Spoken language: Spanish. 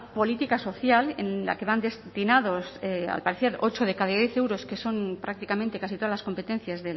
política social en la que van destinados al parecer ocho de cada diez euros que son prácticamente casi todas las competencias